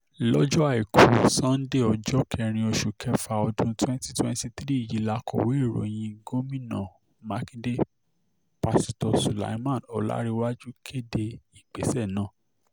lọ́jọ́ àìkú àìkú sanńdé ọjọ́ kẹrin oṣù kẹfà ọdún twenty twenty three yìí làkọ̀wé ìròyìn gomina um makinde páṣítọ̀ sulaiman ọ̀lárèwájú kéde ìgbésẹ̀ um náà